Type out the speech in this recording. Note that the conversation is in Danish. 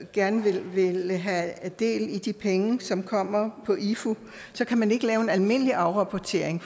gerne vil have del i de penge som kommer i ifu så kan man ikke lave en almindelig afrapportering